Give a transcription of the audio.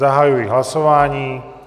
Zahajuji hlasování.